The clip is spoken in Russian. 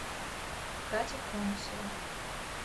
катя конусова